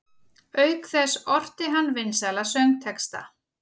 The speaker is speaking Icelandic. Auk þess orti hann vinsæla söngtexta.